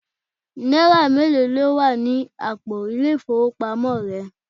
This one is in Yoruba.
Náírà mélòó ló wà ní àpò ile-ifowopamo rẹ?